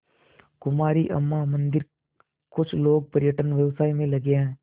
कुमारी अम्मा मंदिरकुछ लोग पर्यटन व्यवसाय में लगे हैं